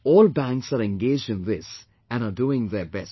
All banks are engaged in this and are doing their best